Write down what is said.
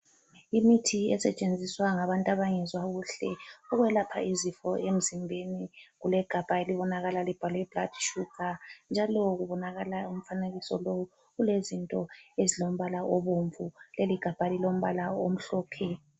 Imithi esetshenziswa ngabantu abangezwa kuhle ukwelapha izifo emzimbeni ,kulegabha elibonakala libhalwe guard sugar njalo kubonakala umfanekiso lowu ulezinto ezilombala obomvu leligabha lilombala omhlophe